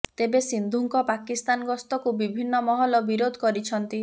ତେବେ ସିଦ୍ଧୁଙ୍କ ପାକିସ୍ତାନ ଗସ୍ତକୁ ବିଭିନ୍ନ ମହଲ ବିରୋଧ କରିଛନ୍ତି